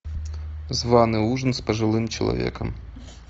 званный ужин с пожилым человеком